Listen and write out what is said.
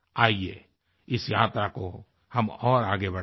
आइये इस यात्रा को हम और आगे बढ़ाएँ